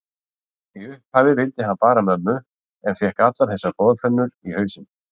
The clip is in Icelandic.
Í upphafi vildi hann bara mömmu en fékk allar þessar boðflennur í hausinn.